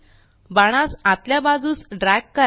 बाणास आतल्या बाजूस ड्रॅग करा